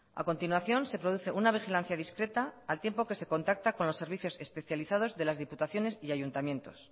a continuación se produce una vigilancia discreta al tiempo que se contacta con los servicios especializados de las diputaciones y ayuntamientos